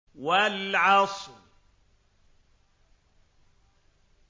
وَالْعَصْرِ